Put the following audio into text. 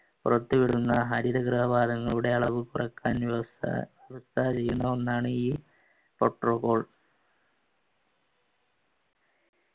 പുറത്തുവിടുന്ന ഹരിഗ്രഹവാദങ്ങളുടെ ഒന്നാണീ protocol